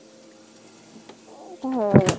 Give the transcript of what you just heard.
অ পাহৰি গলো